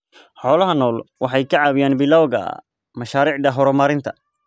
Xoolaha nool waxay ka caawiyaan bilawga mashaariicda horumarinta.